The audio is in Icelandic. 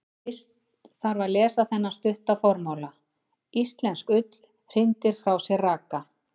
Fyrst þarf að lesa þennan stutta formála: Íslensk ull hrindir frá sér raka.